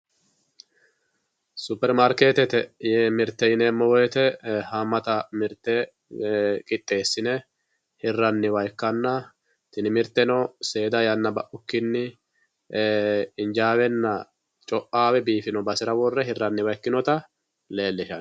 Superimaarketete mirte yineemmo woyte hamata mirte qixxesine hiraniwa ikkanna tini mirteno seeda yanna baukkinni injawenna coame biifino basera worre hiraniha ikkinotta leelishano.